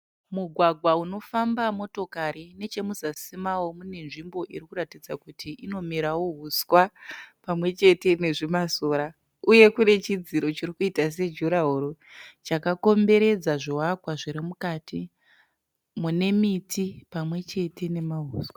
Mugwagwa unofamba motokari. Nechemuzasi mawo mune nzvimbo irikuratidza kuti inomerawo huswa pamwechete nezvimasora uyewo kune chidziro chirikuita sejurahoro chakakomberedza zvivakwa zvirimukati mune miti pamwechete nemahuswa.